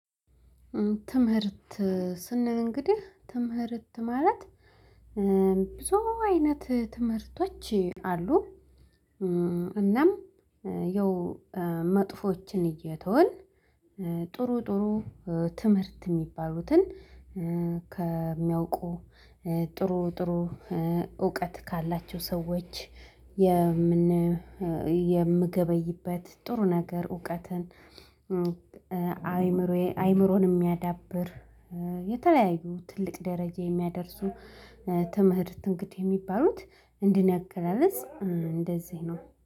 ትምህርት ስንል እንግዲህ ትምህርት ማለት ብዙ አይነት ትምህርቶች አሉ እናም የው መጥፎችን እየተውን ጥሩ ጥሩ ትምህርት ሚባሉትን ከሚያውቁ ጥሩ ጥሩ እውቀት ካላቸው ሰዎች የምን የምገበይበት ጥሩ ነገር እውቀትን፣ አይምሮዬ አይምሮን ሚያዳብር የተለያዩ ትልቅ ደረጃ የሚያደርሱ ትምህርት እንግዲህ ሚባሉት እንደ እኔ አገላለጽ እንደዚህ ነው።